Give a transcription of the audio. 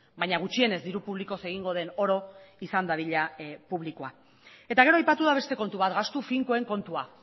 baina gutxienez diru publikoz egingo den oro izan dadila publikoa eta gero aipatu da beste kontu bat gastu finkoen kontua